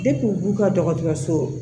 u b'u ka dɔgɔtɔrɔso